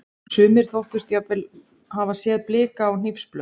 Sumir þóttust jafnvel hafa séð blika á hnífsblöð.